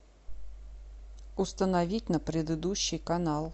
установить на предыдущий канал